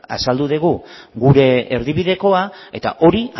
azaldu dugu gure erdibidekoa eta hori